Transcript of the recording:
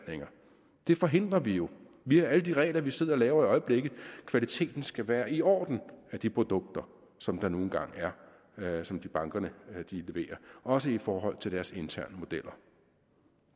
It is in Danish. det forhindrer vi jo via alle de regler vi sidder og laver kvaliteten skal være i orden i de produkter som der nu engang er og som bankerne leverer også i forhold til deres interne modeller